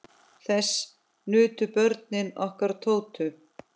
Þess nutu börnin okkar Tótu.